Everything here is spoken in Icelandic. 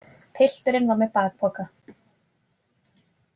Pilturinn var með bakpoka.